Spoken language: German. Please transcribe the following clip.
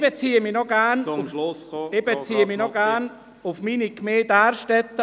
Ich möchte noch meine Gemeinde Därstetten mit 856 Einwohnern erwähnen.